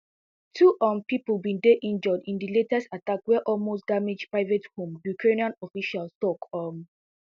two um pipo bin dey injured in di latest attack wey also damage private home ukrainian official tok um